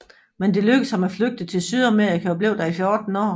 Men det lykkedes ham at flygte til Sydamerika og blev der i 14 år